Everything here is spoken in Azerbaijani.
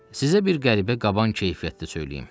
Sizə bir qəribə qaban keyfiyyətdə söyləyim.